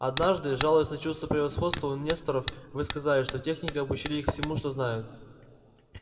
однажды жалуясь на чувство превосходства у несторов вы сказали что техники обучили их всему что знают